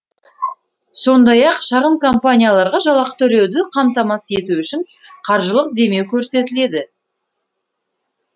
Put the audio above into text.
сондай ақ шағын компанияларға жалақы төлеуді қамтамасыз ету үшін қаржылық демеу көрсетіледі